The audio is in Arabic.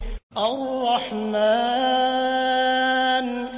الرَّحْمَٰنُ